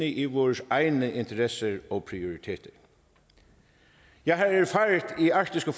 i vores egne interesser og prioriteter jeg har erfaret i arktiske